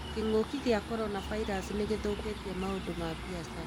Kĩng'ũki gĩa coronavirus nĩgĩthũkĩtie maũndũ ma biacara